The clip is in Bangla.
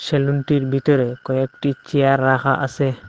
সেলুনটির ভিতরে কয়েকটি চেয়ার রাখা আসে।